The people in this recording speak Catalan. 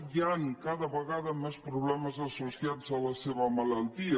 hi ha cada vegada més problemes associ·ats a la seva malaltia